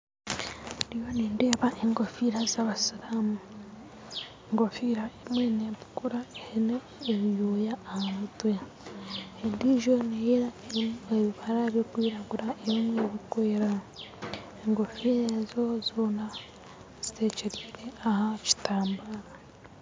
Nindeeba enkofiira zabasiiramu enkoofira emwe netukura eine ebyoya ahamutwe endiijo neyeera eine ebibara byokwiragura enkofiira zoona zitwekyereire aha kitambara